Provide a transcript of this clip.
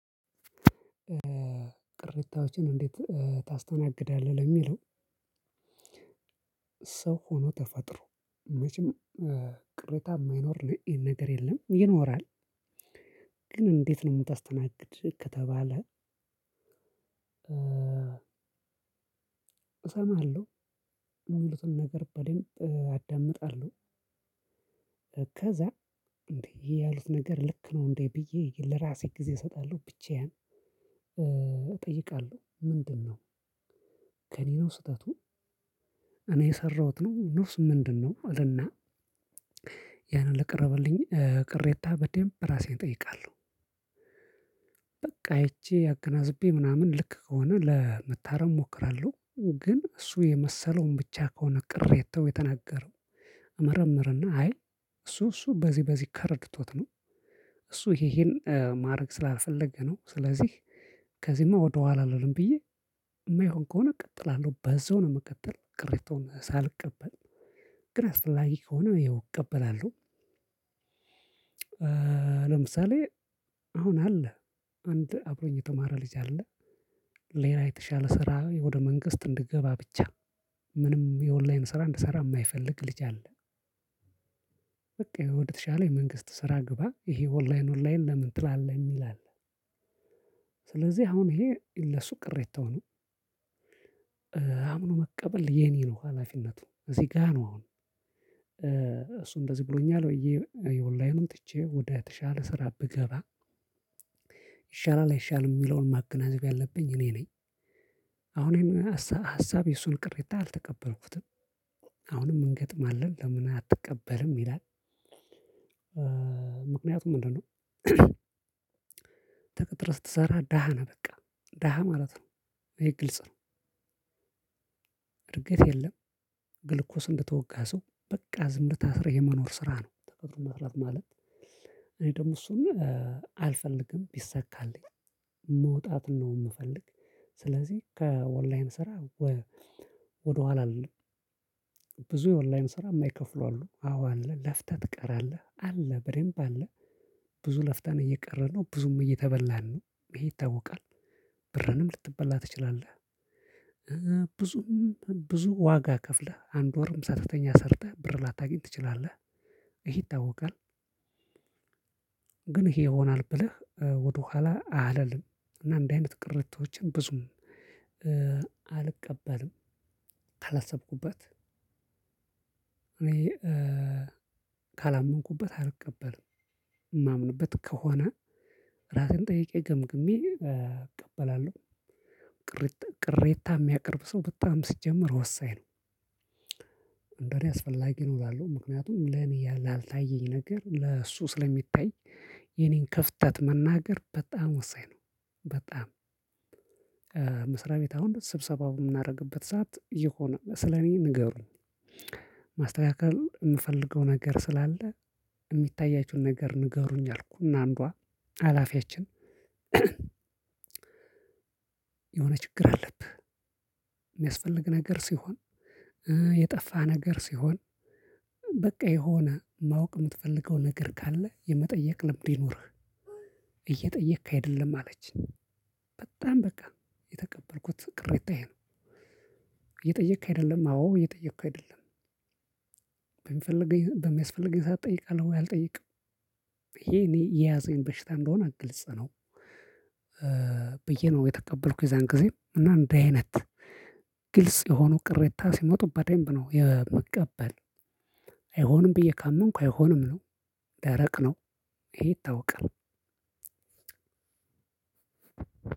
ቅሬታዎችን እንዴት ታስተናግዳለህ? ለሚለው ሰው ሆኖ ተፈጥሮ መቼም ቅሬታ ማይኖር ነገር የለም ይኖራል። ግን እንዴት ነው ምታስተናግድ ከተባለ። እሰማለሁ የሚሉትን ነገር በደብ አዳምጣለሁ። እከዛ ይሄ ያሉት ነገር ልክ ነው እንዴ ብዬ ለራሴ ጊዜ እሰጣለሁ ብቻዬን እጠይቃለሁ። ምንድነው? ከእኔ ነው ስህተቱ እኔ የሰራሁት ነው ነውስ ምንድነው እልና? ያን ለቀረበልኝ ቅሬታ በደንብ ራሴን እጠይቃለሁ። በቃ አይቼ አገናዝቤ ምናምን ልክ ከሆነ ለመታረም እሞክራለሁ። ግን እሱ የመሰለውን ብቻ ከሆነ ቅሬታው የተናገረው እመርምርና አይ እሱ እሱ በዚህ በዚህ ተረድቶት ነው። እሱ ይሄ ይሄን ማረግ ስላልፈለገ ነው። ስለዚህ ከዚህማ ወደኋላ አልሄድም ብዬ የማይሆን ከሆነ እቀጥላለሁ በዛው ነው ምቀጥል ቅሬታውን ሳልቀበል ግን አስፈላጊ ከሆነ ይኸው እቀበላለሁ። ለምሳሌ አሁን አለ አንድ አብሮኝ የተማረ ልጅ አለ ሌላ የተሻለ ስራ ወደ መንግስት እንድገባ ብቻ ምንም የኦንላይን ስራ እንድሰራ ማይፈልግ ልጅ አለ። በቃ ወደተሻለ የመንግስት ስራ ግባ ይሄ ኦንላይን ኦንላይን ለምን ትላለህ ይላል። ስለዚህ አሁን ይሄ ለሱ ቅሬታው ነው። አምኖ መቀበል የኔ ነው ሀላፊነቱ እዚህ ጋር ነው። አሁን እሱ እንደዚህ ብሎኛል ብዬ ኦላይን ትቼ ወደ ተሻለ ስራ ብገባ ይሻላል አይሻልም ሚለውን ማገናዘብ ያለብኝ እኔ ነኝ። አሁን ሀሳብ የሱን ቅሬታ አልተቀበልኩትም። አሁንም እንገጥማለን ለምን አትቀበልም ይላል። ምክንያቱ ምንድነው? ተቀጥረ ስትሰራ ደሃ ነው በቃ ደሃ ማለት ነው ይሄ ግልጽ ነው። እድገት የለም ግልኮስ እንደተወጋ ሰው በቃ ዝም ታስረህ የመኖር ስራ ነው። ተቀጥሮ መስራት ማለት እኔ ደግሞ እሱን ነገር አልፈልግም ቢሰካልኝ መውጣትን ነው ምፈልግ። ስለዚህ ከኦንላይን ስራ ወደኋላ አልልም። ብዙ የኦላይን ስራ ማይከፍሉ አሉ አዎ አለ ለፍተህ ትቀራለህ አለ በደብ አለ። ብዙ ለፍታን የቀረነው ብዙም እየተበላን ነው ይሄ ይታወቃል። ብርንም ልትበላ ትችላለህ። ብዙም ብዙ ዋጋ ከፍለህ አንድ ወርም ሳትተኛ ሰርተህ ብር ላታገኝ ትችላለህ ይሄ ይታወቃል። ግን ይሄ ይሆናል ብለህ ወደኋላ አላልም እና እንደዚህ አይነት ቅርቶችን ብዙም አልቀበልም። ካላሰብኩበት እኔ ካላመንኩበት አልቀበልም። ማምንበት ከሆነ ራሴን ጠይቄ ገምግሜ እቀበላለሁ። ቅሬታ ሚያቀርብ ሰው በጣም ሲጀመር ወሳኝ ነው። እንደኔ አስፈላጊ ነው እላለሁ ምክንያቱም ለኔ ያላልታየኝ ነገር ለእሱ ስለሚታይ የኔን ከፍተት መናገር በጣም ወሳኝ ነው። በጣም መስሪያ ቤት አሁን ስብሰባው ምናረግበት ሰዓት የሆነ ስለኔ ንገሩኝ። ማስተካከል ምፈልገው ነገር ስላለ የሚታያችሁን ነገር ንገሩኝ አልኩኝ እና አንዷ ሀላፊያችን የሆነ ችግር አለብህ። ሚያስፈልግ ነገር ሲሆን የጠፋ ነገር ሲሆን በቃ የሆነ ማወቅ ምትፈልገው ነገር ካለ የመጠየቅ ልምድ ይኖርህ። እየጠየክ አይደለም አለችኝ። በጣም በቃ የተቀበልኩት ቅሬታ ይሄ ነው። እየጠየቅ አይደለም አዎ እየጠየቁ አይደለም። በሚፈልገኝ በሚያስፈልገኝ ሰዓት እጠይቃለሁ ወይ አልጠይቅም። ይሄ እኔ የያዘኝ በሽታ እንደሆነ ግልጽ ነው። ብዬ ነው የተቀበልኩት የዛን ጊዜ እና እንዲህ አይነት ግልጽ የሆኑ ቅሬታ ሲመጡ በደንብ ነው የምቀበል። አይሆንም ብዬ ካመንኩ አይሆንም ነው። ደረቅ ነው። ይሄ ይታወቃል።